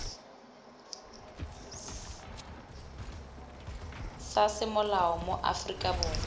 sa semolao mo aforika borwa